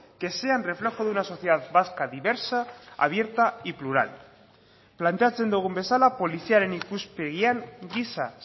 que sean reflejo de una sociedad vasca diversa abierta y plural planteatzen dugun bezala poliziaren ikuspegian giza